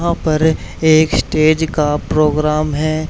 वहां पर एक स्टेज का प्रोग्राम है।